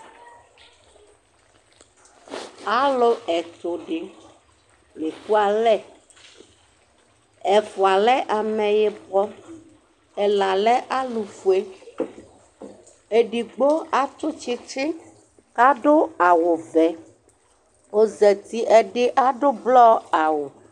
Alʋ ɛtʋ dɩ la ekualɛ Ɛfʋa lɛ ameyibɔ, ɛla alʋfue Edigbo atʋ tsɩtsɩ kʋ adʋ awʋvɛ kʋ ɔzati Ɛdɩ adʋ blɔ awʋ